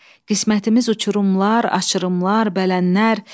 Qismətimiz uçurumlar, aşırımlar, bələnlər.